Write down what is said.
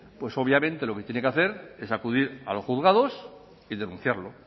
pues obviamente lo que tiene que hacer es acudir a los juzgados y denunciarlo